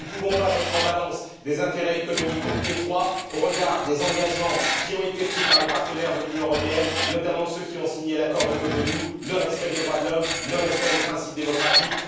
Nous ne pouvons pas mettre en balance des intérêts économiques étroits au regard des engagements qui ont été pris par les partenaires de l'Union européenne, notamment ceux qui ont signé l'accord de Cotonou le respect des droits de l'homme, le respect des principes démocratiques.